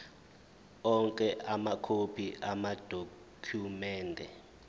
onke amakhophi amadokhumende